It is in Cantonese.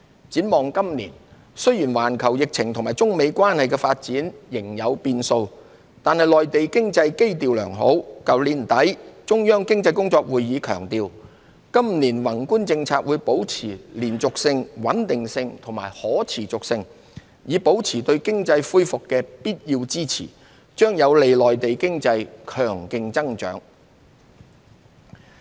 展望今年，雖然環球疫情和中美關係的發展仍有變數，但內地經濟基調良好，去年年底的中央經濟工作會議強調今年宏觀政策會保持連續性、穩定性和可持續性，以保持對經濟恢復的必要支持，將有利內地經濟強勁增長。